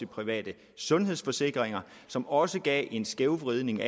private sundhedsforsikringer som også gav en skævvridning